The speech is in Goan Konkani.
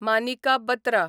मानिका बत्रा